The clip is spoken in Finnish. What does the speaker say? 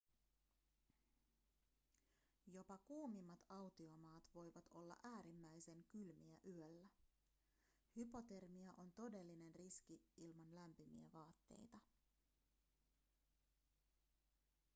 jopa kuumimmat autiomaat voivat olla äärimmäisen kylmiä yöllä hypotermia on todellinen riski ilman lämpimiä vaatteita